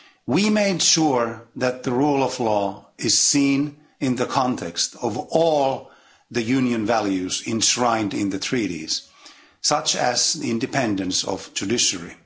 We made sure that the rule of law is seen in the context of all the Union's values enshrined in the Treaties, such as the independence of the judiciary.